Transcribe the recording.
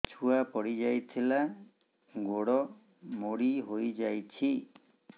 ଛୁଆ ପଡିଯାଇଥିଲା ଗୋଡ ମୋଡ଼ି ହୋଇଯାଇଛି